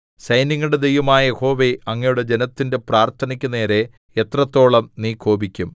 സൈന്യങ്ങളുടെ ദൈവമായ യഹോവേ അങ്ങയുടെ ജനത്തിന്റെ പ്രാർത്ഥനയ്ക്കു നേരെ എത്രത്തോളം നീ കോപിക്കും